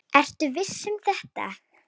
Ertu viss um þetta?